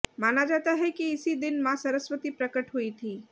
माना जाता है कि इसी दिन मां सरस्वती प्रकट हुई थी